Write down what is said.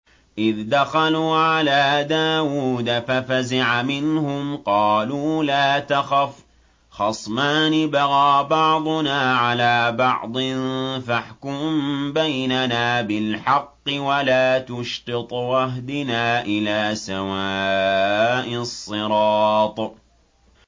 إِذْ دَخَلُوا عَلَىٰ دَاوُودَ فَفَزِعَ مِنْهُمْ ۖ قَالُوا لَا تَخَفْ ۖ خَصْمَانِ بَغَىٰ بَعْضُنَا عَلَىٰ بَعْضٍ فَاحْكُم بَيْنَنَا بِالْحَقِّ وَلَا تُشْطِطْ وَاهْدِنَا إِلَىٰ سَوَاءِ الصِّرَاطِ